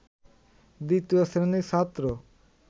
দ্বিতীয় শ্রেণির ছাত্র